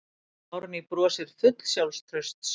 Árný brosir full sjálfstrausts.